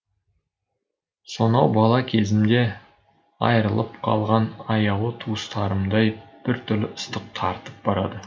сонау бала кезімде айырылып қалған аяулы туыстарымдай біртүрлі ыстық тартып барады